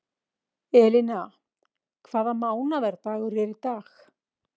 Elina, hvaða mánaðardagur er í dag?